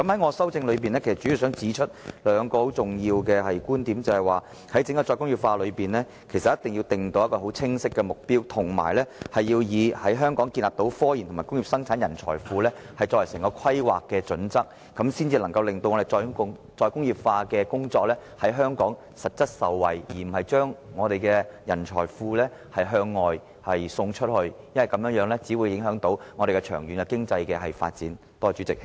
我的修正案主要想指出兩個很重要的觀點，便是政府一定要為整個"再工業化"政策訂出一個十分清晰的目標，並且以在香港建立科研及工業生產人才庫作為整體規劃的準則，這樣才能夠令香港實質受惠於"再工業化"，而不是把我們的人才庫向外送出，否則我們長遠的經濟發展會受到影響。